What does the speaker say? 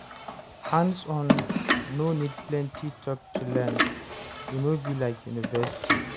Hands-on no need plenty talk to learn, e no be like university